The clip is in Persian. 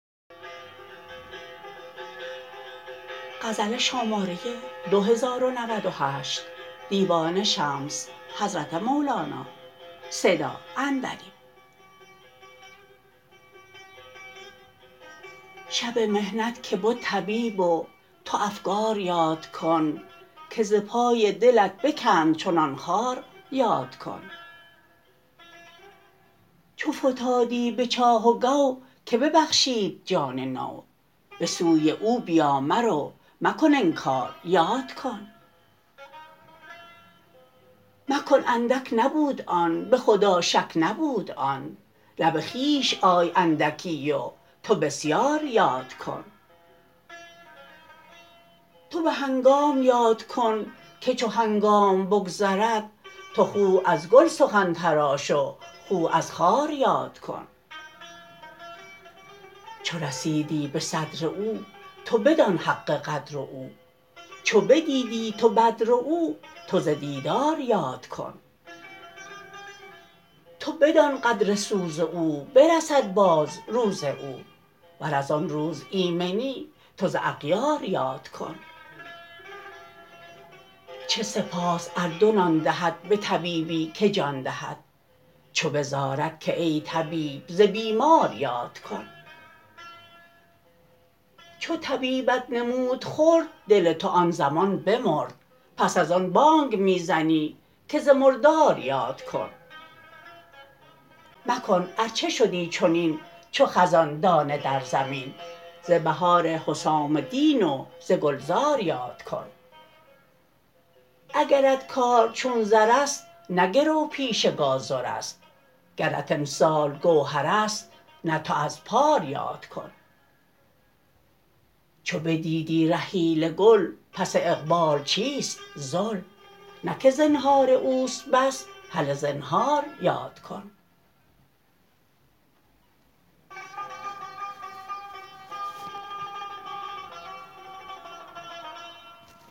شب محنت که بد طبیب و تو افکار یاد کن که ز پای دلت بکند چنان خار یاد کن چو فتادی به چاه و گو که ببخشید جان نو به سوی او بیا مرو مکن انکار یاد کن مکن اندک نبود آن به خدا شک نبود آن نه به خویش آی اندکی و تو بسیار یاد کن تو به هنگام یاد کن که چو هنگام بگذرد تو خوه از گل سخن تراش و خوه از خار یاد کن چو رسیدی به صدر او تو بدان حق قدر او چو بدیدی تو بدر او تو ز دیدار یاد کن تو بدان قدر سوز او برسد باز روز او ور از آن روز ایمنی تو ز اغیار یاد کن چه سپاس ار دو نان دهد به طبیبی که جان دهد چو بزارد که ای طبیب ز بیمار یاد کن چو طبیبت نمود خرد دل تو آن زمان بمرد پس از آن بانگ می زنی که ز مردار یاد کن مکن ار چه شدی چنین چو خزان دانه در زمین ز بهار حسام دین و ز گلزار یاد کن اگرت کار چون زر است نه گرو پیش گازر است گرت امسال گوهر است نه تو از پار یاد کن چو بدیدی رحیل گل پس اقبال چیست ذل نه که زنهار اوست بس هله زنهار یاد کن